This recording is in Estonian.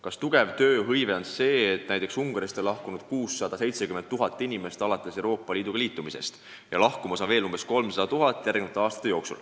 Kas tööhõivega on kõik korras, kui näiteks Ungarist on pärast Euroopa Liitu astumist lahkunud 670 000 inimest ja järgmiste aastate jooksul olevat lahkumas veel 300 000?